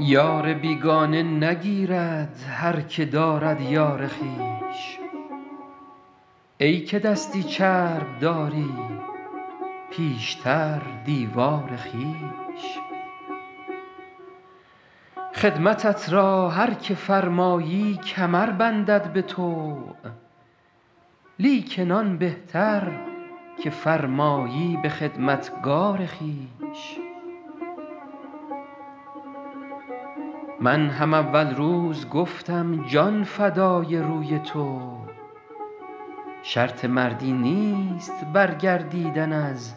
یار بیگانه نگیرد هر که دارد یار خویش ای که دستی چرب داری پیشتر دیوار خویش خدمتت را هر که فرمایی کمر بندد به طوع لیکن آن بهتر که فرمایی به خدمتگار خویش من هم اول روز گفتم جان فدای روی تو شرط مردی نیست برگردیدن از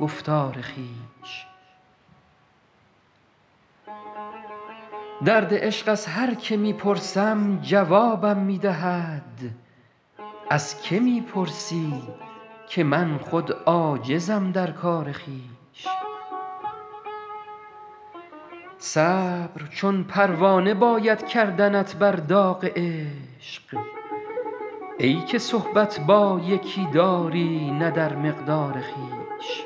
گفتار خویش درد عشق از هر که می پرسم جوابم می دهد از که می پرسی که من خود عاجزم در کار خویش صبر چون پروانه باید کردنت بر داغ عشق ای که صحبت با یکی داری نه در مقدار خویش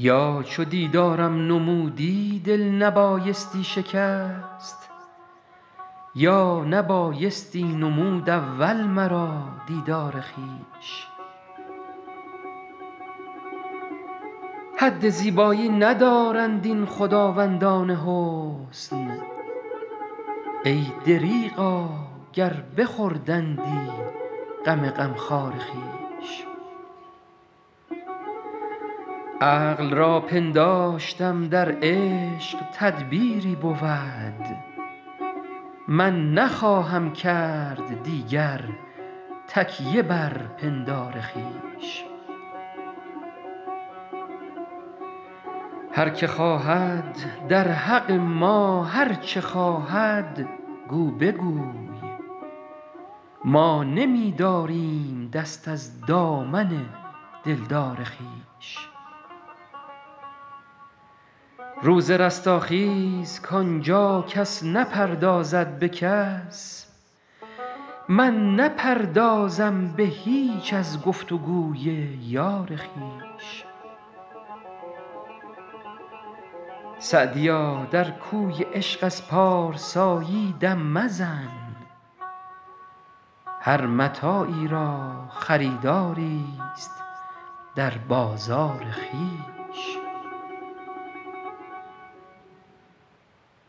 یا چو دیدارم نمودی دل نبایستی شکست یا نبایستی نمود اول مرا دیدار خویش حد زیبایی ندارند این خداوندان حسن ای دریغا گر بخوردندی غم غمخوار خویش عقل را پنداشتم در عشق تدبیری بود من نخواهم کرد دیگر تکیه بر پندار خویش هر که خواهد در حق ما هر چه خواهد گو بگوی ما نمی داریم دست از دامن دلدار خویش روز رستاخیز کان جا کس نپردازد به کس من نپردازم به هیچ از گفت و گوی یار خویش سعدیا در کوی عشق از پارسایی دم مزن هر متاعی را خریداریست در بازار خویش